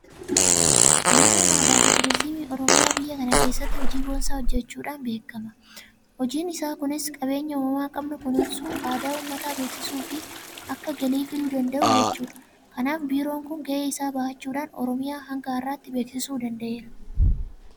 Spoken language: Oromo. Biiroon aadaafi turiizimii Oromiyaa biyya kana keessatti hojii boonsaa hojjechuudhaan beekama. Hojiin isaa kunis qabeenya uumamaa qabnu kunuunsuu, aadaa uummataa beeksisuufi akka galii fiduu danda'u gochuudha. Kanaaf Biiroon kun gahee isaa bahachuudhaan Oromiyaa hanga har'aatti beeksisuu danda'eera.